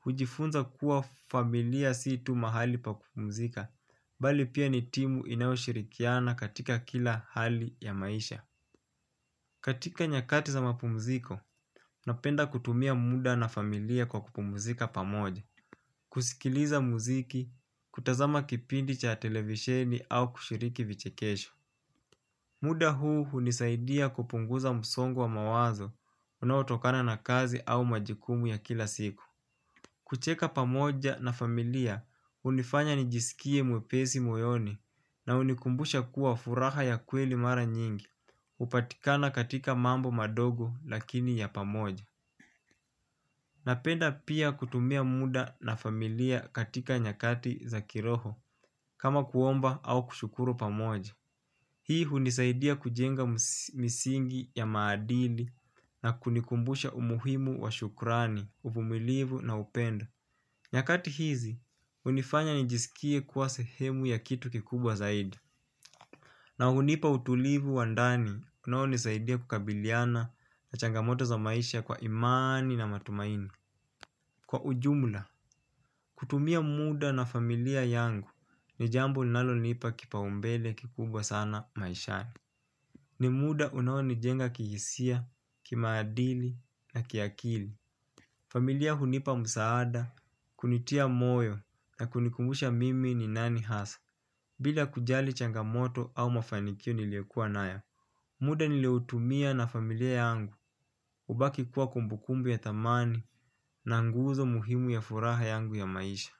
hujifunza kuwa familia sii tu mahali pa kupumzika, bali pia ni timu inayoshirikiana katika kila hali ya maisha. Katika nyakati za mapumziko, napenda kutumia muda na familia kwa kupumzika pamoja. Kusikiliza muziki, kutazama kipindi cha televisheni au kushiriki vichekesho. Muda huu hunisaidia kupunguza msongo wa mawazo unaotokana na kazi au majukumu ya kila siku. Kucheka pamoja na familia hunifanya nijisikie mwepesi moyoni na hunikumbusha kuwa furaha ya kweli mara nyingi hupatikana katika mambo madogo lakini ya pamoja. Napenda pia kutumia muda na familia katika nyakati za kiroho, kama kuomba au kushukuru pamoja. Hii hunisaidia kujenga misingi ya maadili na kunikumbusha umuhimu wa shukrani, uvumilivu na upendo. Nyakati hizi, hunifanya nijisikie kuwa sehemu ya kitu kikubwa zaidi. Na hunipa utulivu wa ndani, unaonisaidia kukabiliana na changamoto za maisha kwa imani na matumaini. Kwa ujumla, kutumia muda na familia yangu ni jambo linalonipa kipaumbele kikubwa sana maishani. Ni muda unaonijenga kihisia, kimaadili na kiakili. Familia hunipa msaada, kunitia moyo na kunikumbusha mimi ni nani hasa. Bila kujali changamoto au mafanikio niliokuwa nayo muda nilioutumia na familia yangu hubaki kuwa kumbukumbu ya thamani na nguzo muhimu ya furaha yangu ya maisha.